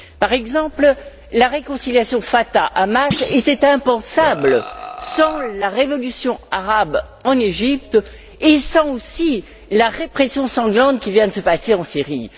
Par exemple, la réconciliation Fatah Hamas était impensable sans la révolution arabe en Égypte, et sans, aussi, la répression sanglante qui vient de se passer en Syrie.